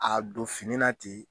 A don fini na ten,